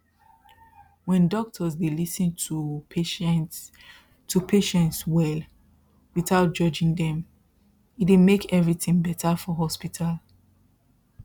when doctors dey lis ten to patients to patients well without judging them e dey make everything better for hospital